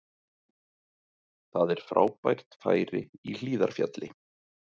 Það er frábært færi í Hlíðarfjalli